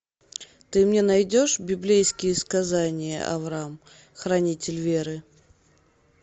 ты мне найдешь библейские сказания авраам хранитель веры